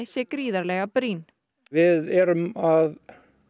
sé gríðarlega brýn við erum að